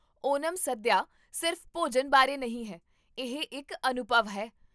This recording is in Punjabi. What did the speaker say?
ਓਨਮ ਸਦਿਆ ਸਿਰਫ਼ ਭੋਜਨ ਬਾਰੇ ਨਹੀਂ ਹੈ, ਇਹ ਇੱਕ ਅਨੁਭਵ ਹੈ